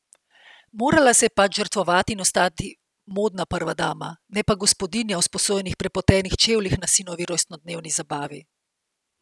Morala se je pač žrtvovati in ostati modna prva dama, ne pa gospodinja v sposojenih prepotenih čevljih na sinovi rojstnodnevni zabavi.